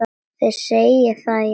Þið segið það, já.